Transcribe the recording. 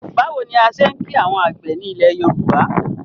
Báwo ni a ṣe ń kìí àwọn àgbẹ̀ ni ilẹ̀ Yorùbá?